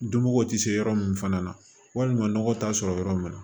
Dunko tɛ se yɔrɔ min fana na walima nɔgɔ t'a sɔrɔ yɔrɔ min na